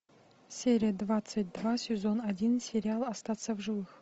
серия двадцать два сезон один сериал остаться в живых